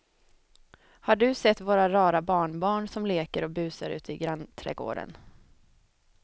Har du sett våra rara barnbarn som leker och busar ute i grannträdgården!